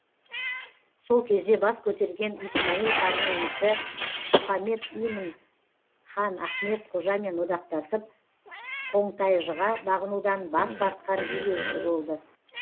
сол кезде бас көтерген исмаил ханның інісі мұхаммед имин хан ахмет қожамен одақтасып қонтайжыға бағынудан бас тартқан билеуші болды